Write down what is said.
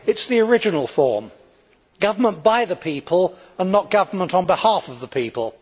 It is the original form government by the people and not government on behalf of the people.